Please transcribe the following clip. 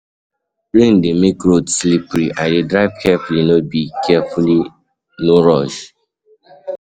Rain dey make road slippery, I dey drive carefully, no rush.